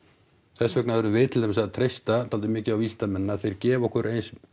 þess vegna verðum við til dæmis að treysta dálítið mikið á vísindamennina að þeir gefi okkur eins